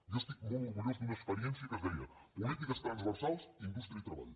jo estic molt orgullós d’una experiència que es deia polítiques transversals indústria i treball